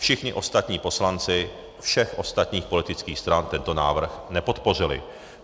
Všichni ostatní poslanci všech ostatních politických stran tento návrh nepodpořili.